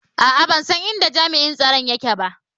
A'a, ban san inda jami'in tsaro yake ba